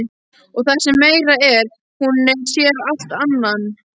Og það sem meira er: hún sér allt annan!?